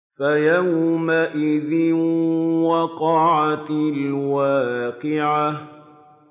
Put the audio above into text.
فَيَوْمَئِذٍ وَقَعَتِ الْوَاقِعَةُ